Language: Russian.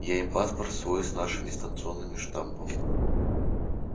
я им паспорт свой с нашим станционным штампом